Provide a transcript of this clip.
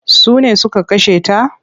Sune suka kashe ta?